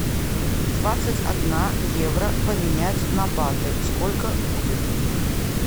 двадцать одна евро поменять на баты сколько будет